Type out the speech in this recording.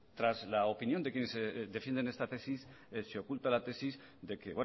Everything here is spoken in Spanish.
tras la opinión de quienes defienden esta tesis se oculta la tesis de que